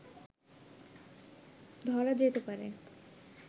ধরা যেতে পারে